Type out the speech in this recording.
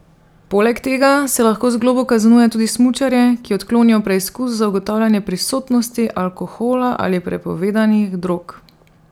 Poleg tega se lahko z globo kaznuje tudi smučarje, ki odklonijo preizkus za ugotavljanje prisotnosti alkohola ali prepovedanih drog.